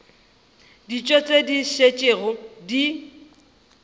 dijo tše di šetšego di